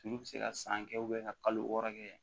Olu bɛ se ka san kɛ ka kalo wɔɔrɔ kɛ